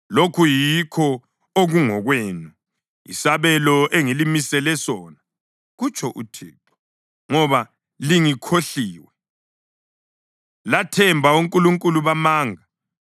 Lokhu yikho okungokwenu, isabelo engilimisele sona,” kutsho uThixo, “ngoba lingikhohliwe lathemba onkulunkulu bamanga.